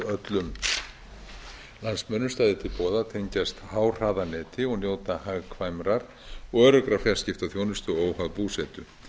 öllum landsmönnum stæði til boða að tengjast háhraðaneti og njóta hagkvæmrar og öruggrar fjarskiptaþjónustu óháð búsetu